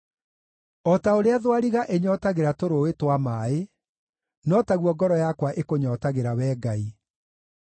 O ta ũrĩa thwariga ĩnyootagĩra tũrũũĩ twa maaĩ, no taguo ngoro yakwa ĩkũnyootagĩra, Wee Ngai.